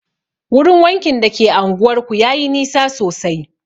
Wurin wankin da ke anguwar ku yayi nisa sosai